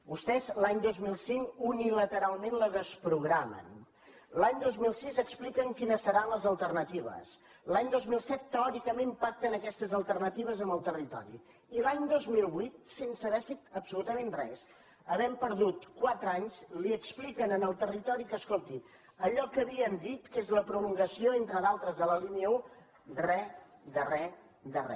vostès l’any dos mil cinc unilateralment la desprogramen l’any dos mil sis expliquen quines seran les alternatives l’any dos mil set teòricament pacten aquestes alternatives amb el territori i l’any dos mil vuit sense haver fet absolutament res havent perdut quatre anys expliquen al territori que escolti allò que havien dit que és la prolongació entre d’altres de la línia un re de re de re